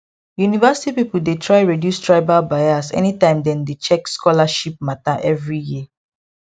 university people dey try reduce tribal bias anytime dem dey check scholarship matter every year